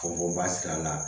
Fɔ ba sira la